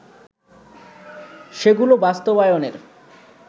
সেগুলো বাস্তবায়নের